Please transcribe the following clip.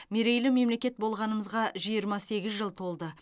мерейлі мемлекет болғанымызға жиырма сегіз жыл толды